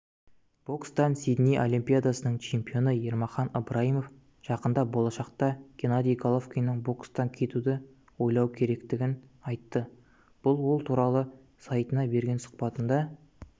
бокстан сидней олимпиадасының чемпионы ермахан ыбрайымов жақын болашақта геннадий головкиннің бокстан кетуді ойлауы керектігін айтты бұл туралы ол сайтына берген сұхбатында